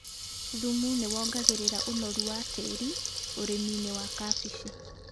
Thumu nĩ wongagĩrĩra ũnoru wa tĩri ũrĩminĩ wa kabeci.